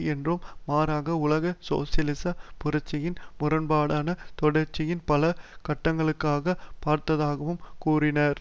என்றும் மாறாக உலக சோசியலிச புரட்சியின் முரண்பாடான தொடர்ச்சியின் பல கட்டங்களாக பார்த்ததாகவும் கூறினார்